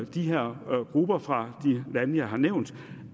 de her grupper fra de lande jeg har nævnt